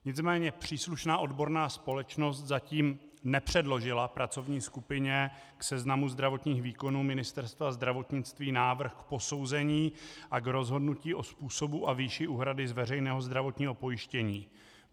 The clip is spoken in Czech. Nicméně příslušná odborná společnost zatím nepředložila pracovní skupině k seznamu zdravotních výkonů Ministerstva zdravotnictví návrh k posouzení a k rozhodnutí o způsobu a výši úhrady z veřejného zdravotního pojištění.